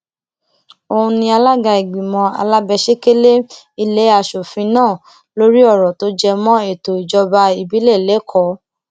òun ni alága ìgbìmọ alábẹsẹkẹlé ilé asòfin náà lórí ọrọ tó jẹ mọ ètò ìjọba ìbílẹ lẹkọọ